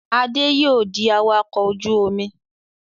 Adé yóò di awakọ̀ ojú-omi.